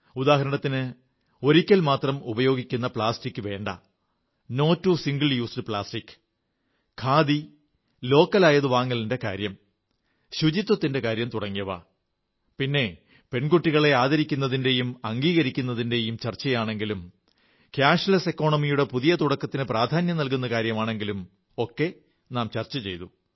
ഉദാഹരണത്തിന് ഒരിക്കൽ മാത്രം ഉപയോഗിക്കുന്ന പ്ലാസ്റ്റിക് വേണ്ടെന്ന് no to single use plastic khadi തദ്ദേശീയമായവ എന്നിവ വാങ്ങലിന്റെ കാര്യം സ്വച്ഛതയുടെ കാര്യം തുടങ്ങിയവ പിന്നെ പെൺകുട്ടികളെ ആദരിക്കലിന്റെയും അഭിമാനത്തിന്റെയും ചർച്ചയാണെങ്കിലും പണം കുറഞ്ഞ സമ്പദ് ഘടന എന്നിവയൊക്കെ നാം ചർച്ച ചെയ്തു